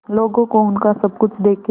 लोगों को उनका सब कुछ देके